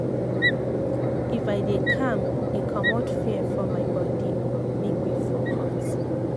if i dey calm e commot fear for my bode make me focus.